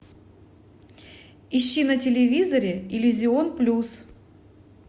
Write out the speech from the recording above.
ищи на телевизоре иллюзион плюс